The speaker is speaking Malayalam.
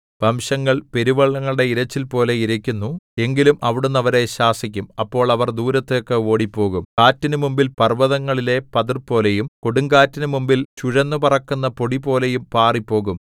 വംശങ്ങൾ പെരുവെള്ളങ്ങളുടെ ഇരച്ചിൽപോലെ ഇരയ്ക്കുന്നു എങ്കിലും അവിടുന്ന് അവരെ ശാസിക്കും അപ്പോൾ അവർ ദൂരത്തേക്ക് ഓടിപ്പോകും കാറ്റിനു മുമ്പിൽ പർവ്വതങ്ങളിലെ പതിർപോലെയും കൊടുങ്കാറ്റിനു മുമ്പിൽ ചുഴന്നുപറക്കുന്ന പൊടിപോലെയും പാറിപ്പോകും